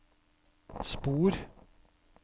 spor